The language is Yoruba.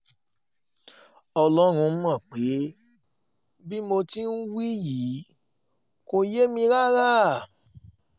ọlọ́run mọ̀ pé bí mo ti ń wí yìí kò yé mi rárá